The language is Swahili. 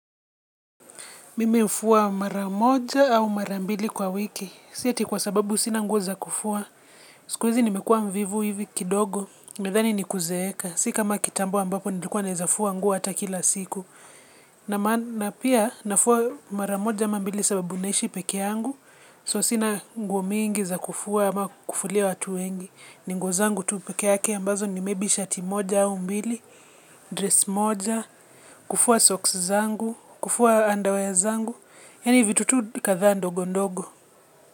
Mimi hufuwa maramoja au marambili kwa wiki. Si ati kwa sababu sina nguo za kufua. Sikuizi nimekuwa mvivu hivi kidogo. Nimethani ni kuzeeka. Si kama kitambo ambapo nilikuwa nawezafuwa nguo hata kila siku. Na pia nafua maramoja amambili sababu naishi pekee yangu. So sina nguo mingi za kufua ama kufulia watu wengi. Ni nguo zangu tu pekee yake ambazo ni shati moja au mbili. Dress moja. Kufua soksi zangu. Kufua andawea zangu yaani vitu kadhaa ndogondogo.